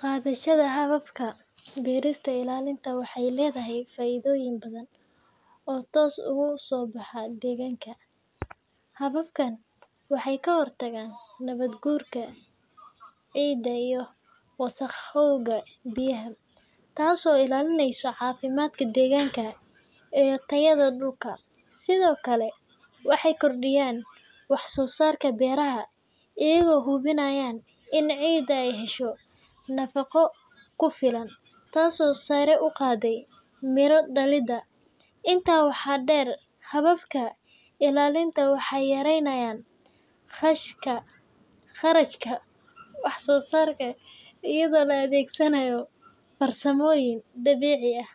Qaadaashada hababka beerista ilaalinta waxay leedahay faa’iidooyin badan oo toos uga soo baxa deegaanka. Hababkan waxay ka hortagaan nabaad-guurka ciidda iyo wasakhowga biyaha, taasoo ilaalinaysa caafimaadka deegaanka iyo tayada dhulka. Sidoo kale, waxay kordhiyaan wax soo saarka beeraha iyagoo hubinaya in ciidda ay hesho nafaqo ku filan, taasoo sare u qaada miro dhalidda. Intaa waxaa dheer, hababka ilaalinta waxay yareeyaan kharashka wax soo saarka iyadoo la adeegsanayo farsamooyin dabiici ah